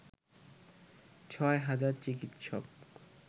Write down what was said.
ছয় হাজার চিকিৎসক